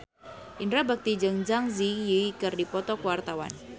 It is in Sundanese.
Indra Bekti jeung Zang Zi Yi keur dipoto ku wartawan